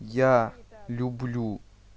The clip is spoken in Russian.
я люблю